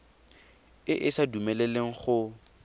e e sa dumeleleng go